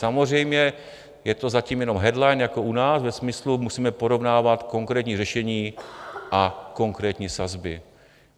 Samozřejmě je to zatím jenom headline jako u nás ve smyslu: musíme porovnávat konkrétní řešení a konkrétní sazby.